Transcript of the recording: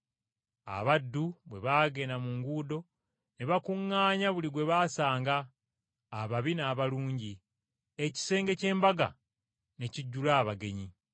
Abaddu bwe baagenda mu nguudo, ne bakuŋŋaanya buli gwe baasanga, ababi n’abalungi, ekisenge ky’embaga ne kijjula abagenyi.